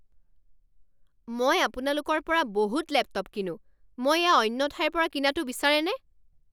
মই আপোনালোকৰ পৰা বহুত লেপটপ কিনোঁ। মই এয়া অন্য ঠাইৰ পৰা কিনাটো বিচাৰেনে?